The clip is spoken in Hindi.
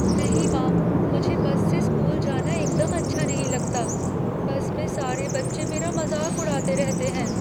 नहीं माँ, मुझे बस से स्कूल जाना एकदम अच्छा नहीं लगता। बस में सारे बच्चे मेरा मज़ाक उड़ाते रहते हैं।